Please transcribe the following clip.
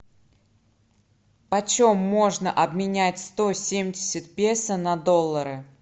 почем можно обменять сто семьдесят песо на доллары